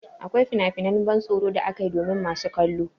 Akwai finafinan ban tsoro da ake yi domin masu kallo.